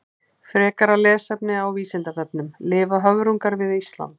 Frekara lesefni á Vísindavefnum: Lifa höfrungar við Ísland?